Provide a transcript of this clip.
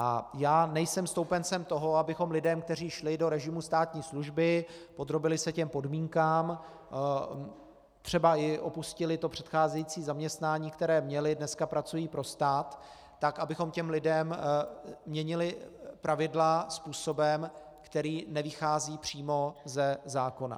A já nejsem stoupencem toho, abychom lidem, kteří šli do režimu státní služby, podrobili se těm podmínkám, třeba i opustili to předcházející zaměstnání, které měli, dneska pracují pro stát, tak abychom těm lidem měnili pravidla způsobem, který nevychází přímo ze zákona.